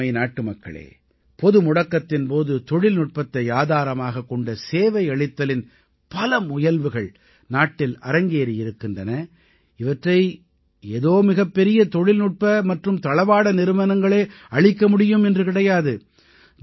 எனதருமை நாட்டுமக்களே பொதுமுடக்கத்தின் போது தொழில்நுட்பத்தை ஆதாரமாகக் கொண்ட சேவையளித்தலின் பல முயல்வுகள் நாட்டில் அரங்கேறி இருக்கின்றன இவற்றை ஏதோ மிகப்பெரிய தொழில்நுட்ப மற்றும் தளவாட நிறுவனங்களே அளிக்க முடியும் என்று கிடையாது